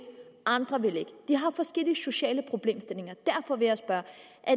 andre vil ikke de har forskellige sociale problemstillinger derfor vil jeg spørge